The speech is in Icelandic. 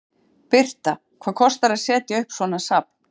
Birta: Hvað kostar að setja upp svona safn?